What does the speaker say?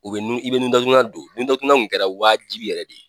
U bɛ nu i bɛ nu datugulan don nu datugulan kun kɛra waajibi yɛrɛ de ye.